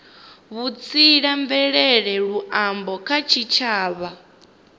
vhutsila mvelele na luambo kha tshitshavha